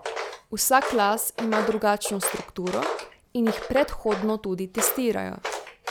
Vsak las ima drugačno strukturo in jih predhodno tudi testirajo.